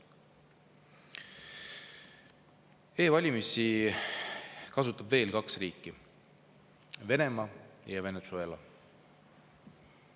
E-valimisi kasutavad veel kaks riiki: Venemaa ja Venezuela.